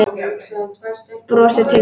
Brostir til mín.